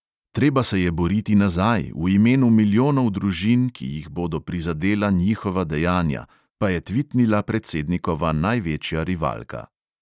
"Treba se je boriti nazaj, v imenu milijonov družin, ki jih bodo prizadela njihova dejanja," pa je tvitnila predsednikova največja rivalka.